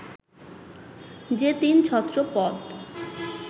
যে তিন ছত্র পদ